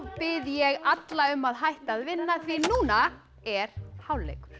bið ég alla um að hætta að vinna því núna er hálfleikur